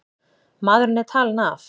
Maðurinn er talinn af.